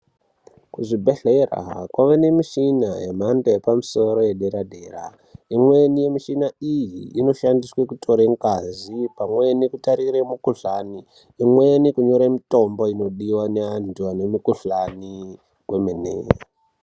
Kuzvibhedhleya kwave nemichini yemhando yepamusoro yedera dera imweni michina iyi inoshandiswe kuongorore ngazi pamweni kutarire mulikuhlani imweni kunyore mitombo inodiwa neantu ane mikuhlani wemene.